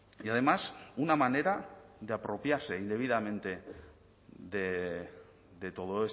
y además una manera de apropiarse indebidamente de todo